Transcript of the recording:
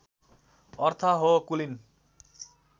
अर्थ हो कुलीन